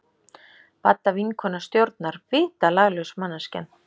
Badda vinkona stjórnar, vitalaglaus manneskjan!